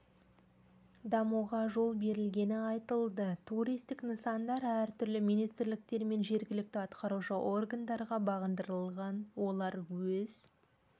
дамуға жол берілгені айтылды туристік нысандар әртүрлі министрліктер мен жергілікті атқарушы органдарға бағындырылған олар өз